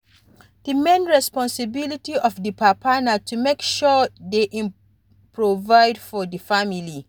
Di main responsibility of di papa na to make sure sey im provide for di family